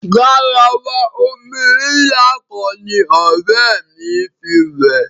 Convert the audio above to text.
Garawa omi ńlá kan ní ọ̀rẹ́ mí fí wẹ̀.